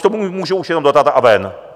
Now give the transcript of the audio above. K tomu můžu už jenom dodat: A ven!